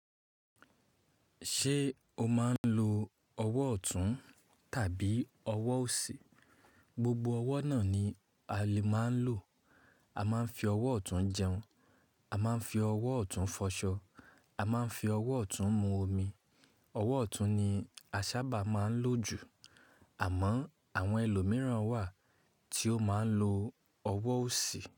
Ṣé o máa ń lo ọwọ́ ọ̀tún tàbí ọwọ́ òsì? Gbogbo ọwọ́ náà ni a lè máa ń lò. A máa ń fi ọwọ́ ọ̀tún jẹun, a máa ń fi ọwọ́ ọ̀tún fọṣọ, a máa ń fi ọwọ́ ọ̀tún mu omi. Ọwọ́ ọ̀tún ni a sábà máa ń lò jù. Àmọ́ àwọn ẹlòmíràn wà tí ó máa ń lo ọwọ́ òsì.